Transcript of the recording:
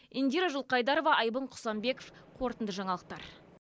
индира жылқайдарова айбын құсанбеков қорытынды жаңалықтар